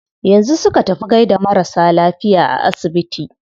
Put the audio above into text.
Yanzu su ka tafi gaida marasa lafiya a asibiti?